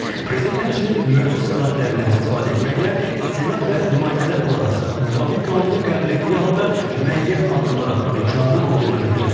Prezident həmçinin mövcud səlahiyyətlərindən istifadə etməklə Senat və Nümayəndələr Palatası müvafiq qanunu qəbul etdiyi halda müəyyən addımlar atmaq imkanının olduğunu bildirib.